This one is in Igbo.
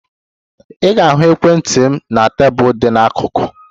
Ị ga-ahụ ekwentị m na tebụl dị n'akụkụ.